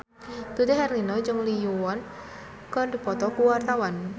Dude Herlino jeung Lee Yo Won keur dipoto ku wartawan